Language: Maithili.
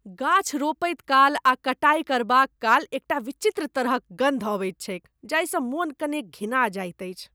गाछ रोपैत काल आ कटाई करबाकाल एकटा विचित्र तरहक गन्ध अबैत छैक जाहिसँ मन कनेक घिना जाइत अछि।